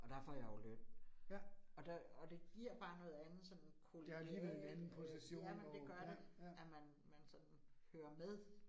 Og der får jeg jo løn, og der og det giver bare noget andet sådan kollegialt øh jamen det gør det, at man man sådan hører med